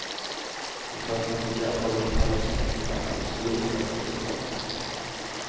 Han kan ikke fordra folk i pels eller afrikanere i store, flagrende gevanter.